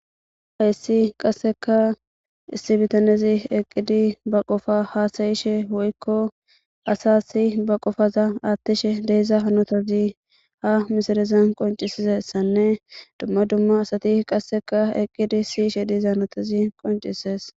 Hays qaseka issi bitanez eqid ba Qopa hasa'ishe woyko asasi ba qopaza athishe de'iza hanotazi ha misilezan qoncisizaysanne dumma dumma asati qaseka eqid siyishe diza hanotazi qoncises.